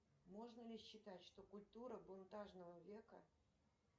можно ли считать что культура бунтажного века